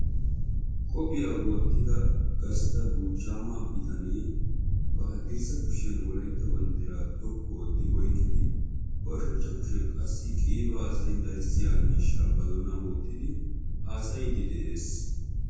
Qophiya wottida gastta buuchchaama bitanee ba haddirssa kushiyan wolaytta banddiraa xoqqu ootti oyqqidi ba ushachcha kushiyan qassi qiibaa haasayin darissiya miishshaa ba doonan wottidi haasayiiddi de'ees.